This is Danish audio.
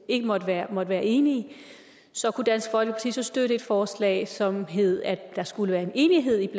ikke måtte være være enige kunne dansk folkeparti så støtte et forslag som hed at der skulle være en enighed